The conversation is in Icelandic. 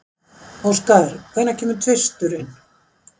Óskar, hvenær kemur tvisturinn?